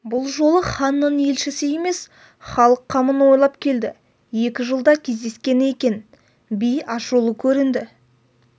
бұл жолы ханның елшісі емес халық қамын ойлап келді екі жылда кездескені екен би ашулы көрінді